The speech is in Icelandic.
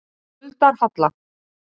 Skuldarhalla